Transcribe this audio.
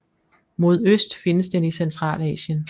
Mod øst findes den i Centralasien